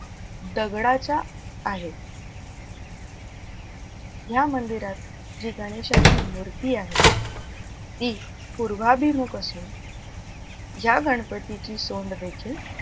दगडाच्या आहेत. ह्या मंदिरात जी गणेशाची मूर्ती आहे ती पूर्वाभिमुख असून ह्या गणपतीची सोंड देखील,